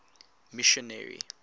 missionary